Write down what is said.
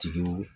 Tigiw